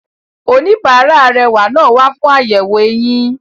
Oníbàárà arẹwà náà wa fún àyẹ̀wò eyín.